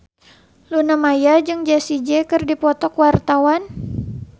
Luna Maya jeung Jessie J keur dipoto ku wartawan